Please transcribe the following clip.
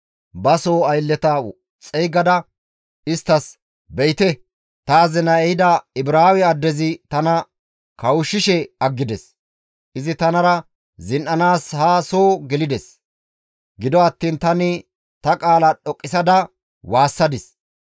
ba soo aylleta xeygada isttas, «Be7ite! Ta azinay ehida Ibraawe addezi tana kawushshishe aggides; izi tanara zin7anaas haa soo gelides; gido attiin tani ta qaala dhoqqisada waassadis.